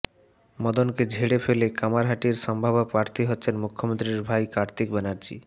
মদনকে ঝেড়ে ফেলে কামারহাটির সম্ভাব্য প্রার্থী হচ্ছেন মুখ্যমন্ত্রীর ভাই কার্তিক ব্যানার্জী